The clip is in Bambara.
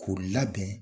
K'o labɛn